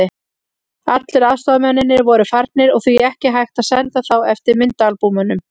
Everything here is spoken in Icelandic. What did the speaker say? Allir aðstoðarmennirnir voru farnir og því ekki hægt að senda þá eftir myndaalbúmunum.